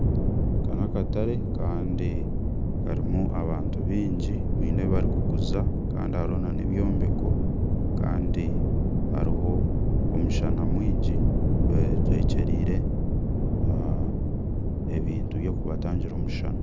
Aka n'akatare kandi karimu abantu baingi baine ebibarikuguza kandi hariho n'ebyombeko kandi hariho omushana mwingi betwekyereire ebintu by'okubatangira omushana.